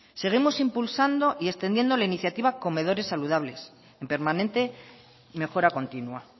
seguimos impulsando y extendiendo la iniciativa comedores saludables en permanente mejora continua